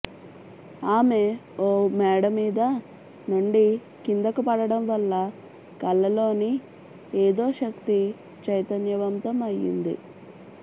ఆమె ఓ మేడమీద నుండి కిందకు పడడం వల్ల కళ్ళలోని ఏదోశక్తి చైతన్యవంతం అయ్యింది